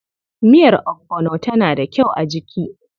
Miyar ogbono tana da kyau a jiki.